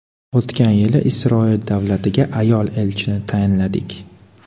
O‘tgan yili Isroil davlatiga ayol elchini tayinladik.